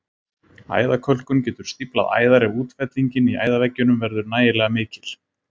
Æðakölkun getur stíflað æðar ef útfellingin í æðaveggjunum verður nægilega mikil.